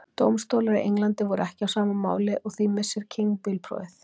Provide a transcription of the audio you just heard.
Dómstólar í Englandi voru ekki á sama máli og því missir King bílprófið.